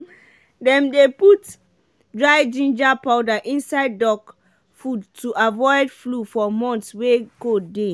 dem dey put dry ginger powder inside duck food to avoid flu for months wey cold dey.